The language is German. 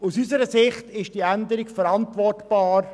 Aus unserer Sicht ist die Änderung verantwortbar.